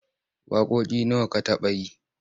Waƙoƙi nawa ka taɓa yi?